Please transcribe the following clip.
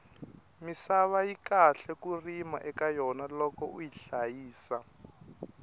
misava yi kahle ku rima eka yona loko uyi hlayisa